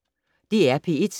DR P1